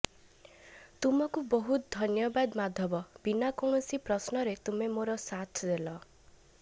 ତୁମକୁ ବହୁତ୍ ଧନ୍ୟବଦ୍ ମାଧବ ବିନା କୌଣଷି ପ୍ରଶ୍ନ ରେ ତୁମେ ମୋର ସାଥ ଦେଲ